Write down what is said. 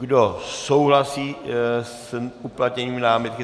Kdo souhlasí s uplatněním námitky?